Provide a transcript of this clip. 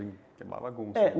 uma bagunça